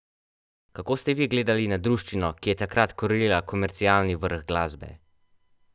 Kako ste vi gledali na druščino, ki je takrat krojila komercialni vrh glasbe?